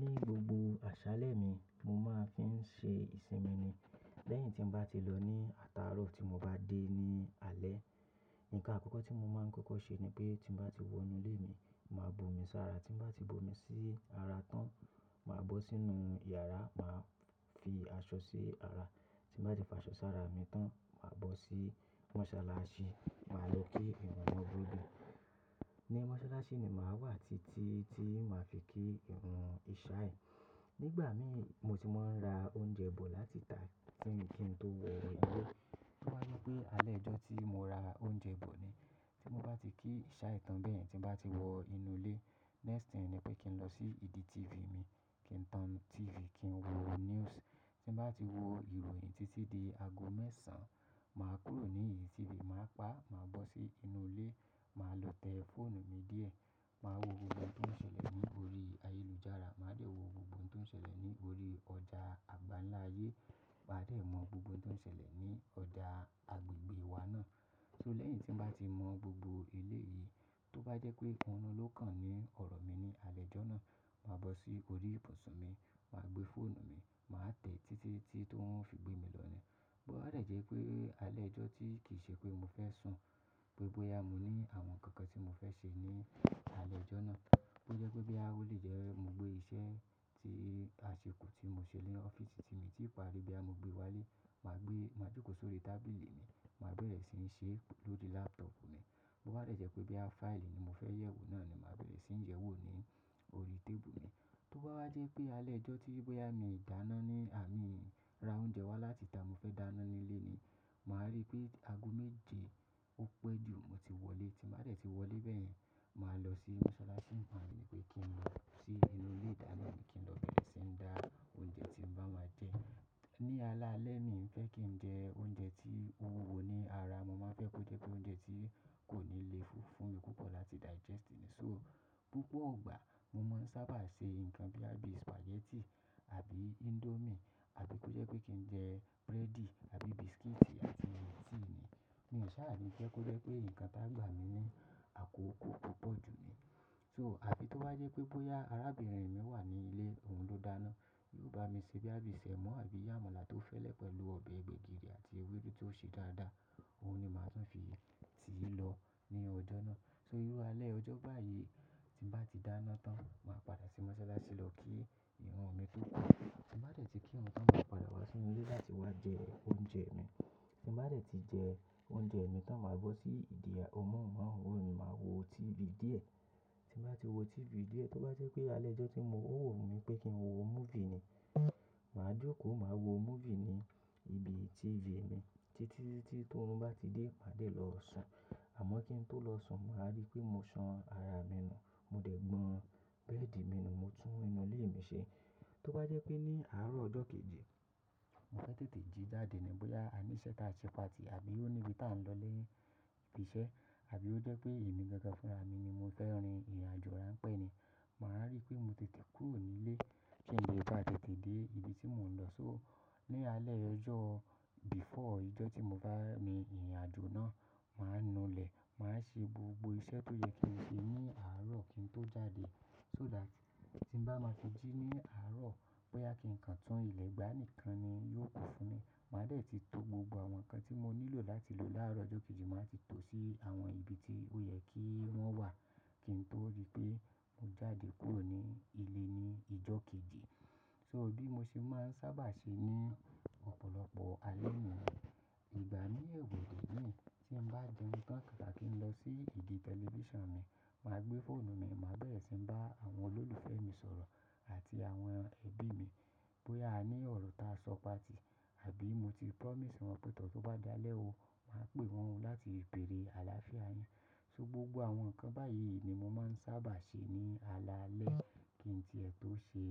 Ní gbogbo àṣálẹ́ mi, mo máa ń fi ń ṣe ìsinmi ni. Lẹ́yìn tí m bá ti lọ ní àtàárọ̀ tí mo bá dé ní alẹ́, ǹkan àkọ́kọ́ tí mo máa ń kọ́kọ́ ṣe ni pé tí m bá ti wọ inú ilé mi, màá bo omi sára. Tí mo bá ti bo omi sí ara tán, màá bọ́ sínú yàrá, màá fi aṣọ sí ara. Tí mo bá ti fa aṣọ sára mi tán, màá bọ́ sí mọ́sálásí, màá lọ kí ìrun wọn gbó dé. Ní mọ́sálásí ni màá wà títí tí màá fi kí ìrun ìṣàì. Nígbà mí mo ti máa ń ra oúnjẹ bò láti tà á kí n tó wọ inú ilé. Tó bá dí ipé alẹ́ ojọ́ tí mo ra oúnjẹ bò ni, tí mo bá ti kí ìṣàì tán bẹ́ẹ̀, tí mo bá ti wọ inú ilé, next thing ni pé kí n lọ sí ìdí TV mi, kí n tan TV, kí n wo news. Tí mo bá ti wo ìròyìn títí di aago mẹ́sàn, màá kúrò ní idì TV, màá pa á, màá bọ́ sí inú ilé, màá lo tẹ fóònù mi díẹ̀, màá wo gbogbo ohun tó ń ṣẹlẹ̀ ní orí ayélujára, màá de wo gbogbo ohun tó ń ṣẹlẹ̀ ní orí ọjà àgbálaáyé, màá lè mọ gbogbo ohun tó ń ṣẹlẹ̀ ní ọjà agbègbè wa náà. So lẹ́yìn tí m bá ti mọ gbogbo elé yìí, tó bá jẹ́ pé orún ló kàn ní ọ̀rọ̀ mi ní alẹ́ ẹjọ́ náà, màá bọ́ sí orí ibùsùn mi, màá gbé fóònù mi, màá tẹ títí tí oruń o fi gbé mi lọ ní. Bo bá dẹ̀ jẹ́ pé alẹ́ ojọ́ tí kì í ṣe pé mo fẹ́ sùn, bóyá mo ní àwọn ǹkan kan tí mo fẹ́ ṣe ní alẹ́ ojọ́ náà, bó jẹ́ pé boya ó lè jẹ́ mo gbé iṣẹ́ tí a ṣekù tí mo ṣe ni ọ́ffice tí mi ti pari bí a mo gbé wá lé, màá gbé, màá jókòó sórí tábìlì mi, màá bẹ̀rẹ̀ síi ṣe é lórí laptop mi. Bo bá dẹ̀ jẹ́ pé boya fáìlì ni mo fẹ́ yẹ̀wò náà ni màá bẹ̀rẹ̀ sí ń yẹwò ní orí tébù mi. Tó bá wá jẹ́ pé alẹ́ ojọ́ tí bóyá mi ń dáná ní àrin ń ra oúnjẹ wá láti tàá, mo fẹ́ dáná ní ilé ni, màá rí pé aago méje ó pẹ́ jù mo ti wọlé. Tí ba dẹ̀ tí wọlé bẹ́yen, màá lọ sí mọ́sálásí tabi pe kin lo si ile idana kin lo beere si n da ounje tin ba ma je ni ala le mi fe kin je ounje ti o wuwo ni ara mo man fe ko je pe ounje ti koni le ju fun mi pupo. Tí digest ni so ni gogbo gba mo man saba se nkan boya bi spaghetti abi indomie abi ko je pe kin je breadi tabi biscuiti Tea ni mi sa le je ko je pe nkán ti a gba mi ni akoko pupo ju ni so afi to bá jẹ́ pé boya arabirin mi wa ni ile oun lo dana to ba mi se boya bí semo abi amala to fele pelu obe gbegiri ati ewedu ti o se dada o ni màá tun fi tilo ni ojo na so iru ale ojo bayi tin ba ti dana tan ma pada si mosolasi lo ki irun mi ti mofe ki tin ba de ti kirun tan ma pada wa si inu ile lati wa je ounje mi tin ba de ti je ounje mi tan ma bo si idi amóhùnmáwòrán ma wo tv die. Bẹ́ẹ̀dì mi nù, mo tún inú ilé mi ṣe. Tó bá jẹ́ pé ní àárọ̀ ọjọ́ kejì, mo fẹ́ tètè jí jáde ni bóyá a ní iṣẹ́ táa ṣe patì àbí ó níbi táa ń lọ ni ibi iṣẹ́, àbí ó jẹ́ pé èmi gangan fúnra mi ni mo fẹ́ rin ìrìnàjò rán pẹ́ ni, màá rí pé mo tètè kúrò ní ilé kí n lè bá tètè dé ibi tí mò ń lọ. So ní alẹ́ ojọ́ before ijó tí mo bá ní ìrìnàjò náà, màá nu ilẹ̀, màá ṣe gbogbo iṣẹ́ tó yẹ kí n ṣe ní àárọ̀ kí n tó jáde so that tí mo bá máa fi jí ní àárọ̀, bóyá kí ǹkan tún ilẹ̀ gbá nìkan ni yóò kù fún mi. Màá dẹ̀ tí to gbogbo àwọn ǹkan tí mo nílò láti lò láàárọ̀ ọjọ́ kejì, màá ti to sí àwọn ibi tí ó yẹ kí wọ́n wà kí n tó rí pé mo jáde kúrò ní ilé ní ijó kejì. So bí mo ṣe máa ń sábà ṣe ní ọ̀pọ̀lọpọ̀ alẹ́ ni. Ìgbà mí èwọ̀dé ni, tí mo bá jẹun tan kaka kí n lọ sí idi tẹlifíṣàn mi, màá gbé fóònù mi, màá bẹ̀rẹ̀ sí ń bá àwọn olólùfẹ́ mi sọ̀rọ̀ àti àwọn ẹbí mi bóyá a ní ọ̀rọ̀ ta sọ patì àbí mo ti promise wọn pẹ tor tó bá dalẹ́ o, màá pè wọ́n o láti béèrè àlàáfíà yin. So gbogbo àwọn ǹkan báyìí ni mo máa ń sábà ṣe ní alalẹ́ kí n tìẹ tó ṣe